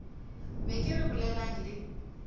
be ke re bolelang le